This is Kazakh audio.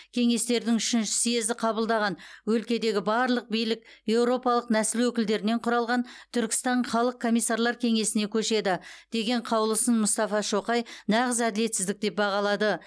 кеңестердің үшінші съезі қабылдаған өлкедегі барлық билік еуропалық нәсіл өкілдерінен кұралған түркістан халық комиссарлар кеңесіне көшеді деген қаулысын мұстафа шоқай нағыз әділетсіздік деп бағалады